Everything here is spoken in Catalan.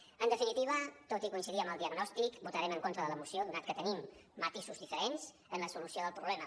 en definitiva tot i coincidir amb el diagnòstic votarem en contra de la moció donat que tenim matisos diferents en la solució del problema